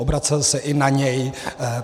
Obracel se i na něj.